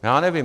Já nevím.